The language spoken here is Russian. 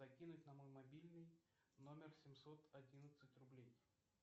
закинуть на мой мобильный номер семьсот одиннадцать рублей